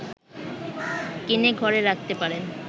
কিনে ঘরে রাখতে পারেন